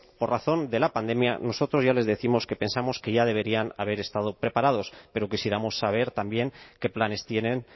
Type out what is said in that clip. por razón de la pandemia nosotros ya les décimos que pensamos que ya deberían haber estado preparados pero quisiéramos saber también qué planes tienen